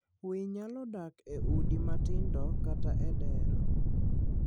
winy nyalo dak e udi matindo kata e dero.